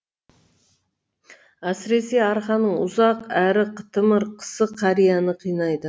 әсіресе арқаның ұзақ әрі қытымыр қысы қарияны қинайды